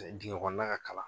dingɛ kɔnɔna ka kalan